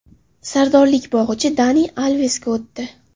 Sardorlik bog‘ichi Dani Alvesga o‘tdi.